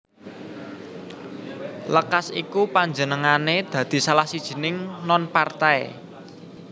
Lekas iku panjenengané dadi salah sijining non partai